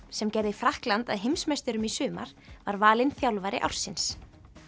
sem gerði Frakkland að heimsmeisturum í sumar var valinn þjálfari ársins